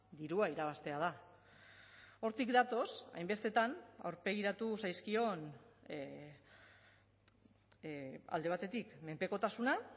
dirua irabaztea da hortik datoz hainbestetan aurpegiratu zaizkion alde batetik menpekotasuna